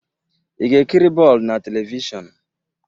Ị ga-ekiri bọọlụ na telivishọn?